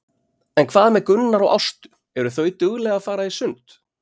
En hvað með Gunnar og Ástu, eru þau dugleg að fara í sund?